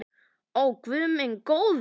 Ó guð minn góður.